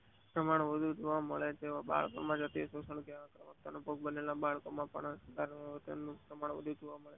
પ્રમાણ વધુ જોવા મળે તેવા બાળકો માં અનુભવ થયેલ બાળકો માં પરિવર્તન નું પ્રમાણ વધુ જોવા મળે છે